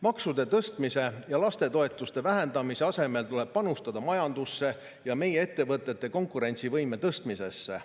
Maksude tõstmise ja lastetoetuste vähendamise asemel tuleb panustada majandusse ja meie ettevõtete konkurentsivõime tõstmisesse.